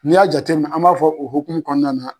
N'i y'a jatem an b'a fɔ o hokumu kɔɔna na